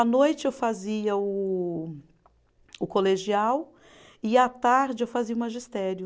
À noite eu fazia o o colegial e à tarde eu fazia o magistério.